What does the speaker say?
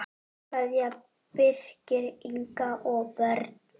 Kveðja, Birkir, Inga og börn.